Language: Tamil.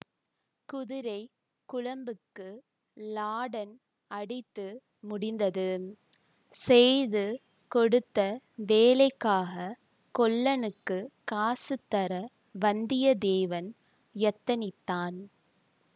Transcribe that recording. குதிரைக் குளம்புக்கு லாடன் அடித்து முடிந்தது செய்து கொடுத்த வேலைக்காகக் கொல்லனுக்குக் காசு தர வந்தியத்தேவன் யத்தனித்தான்